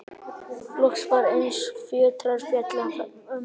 Loks var eins og fjötrar féllu af mömmu.